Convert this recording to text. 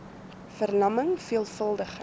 ver lamming veelvuldige